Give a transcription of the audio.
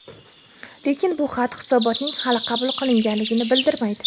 Lekin bu xat hisobotning hali qabul qilinganligini bildirmaydi.